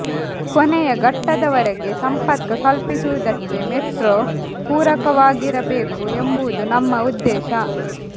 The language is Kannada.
ಕೊನೆಯ ಘಟ್ಟದವರೆಗೆ ಸಂಪರ್ಕ ಕಲ್ಪಿಸುವುದಕ್ಕೆ ಮೆಟ್ರೊ ಪೂರಕವಾಗಿರಬೇಕು ಎಂಬುದು ನಮ್ಮ ಉದ್ದೇಶ